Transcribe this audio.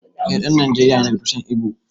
Eh ɗan Nijeriya ne daga tushen Igbo